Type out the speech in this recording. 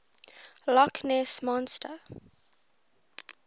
loch ness monster